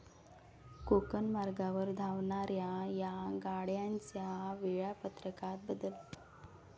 कोकण मार्गावर धावणाऱ्या या गाड्यांच्या वेळापत्रकात बदल